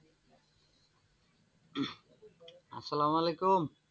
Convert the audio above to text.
আসসালামু আলাইকুম,